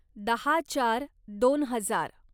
दहा चार दोन हजार